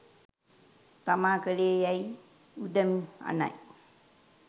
තමා කළේ යෑයි උදම් අනයි.